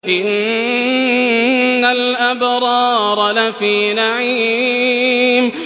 إِنَّ الْأَبْرَارَ لَفِي نَعِيمٍ